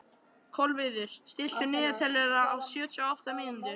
Kolviður, stilltu niðurteljara á sjötíu og átta mínútur.